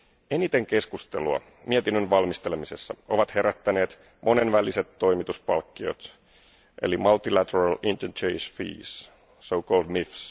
Eniten keskustelua mietinnön valmistelemisessa ovat herättäneet monenväliset toimituspalkkiot eli Multilater Interchange Fees, so called MIFs